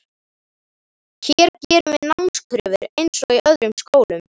Hér gerum við námskröfur eins og í öðrum skólum.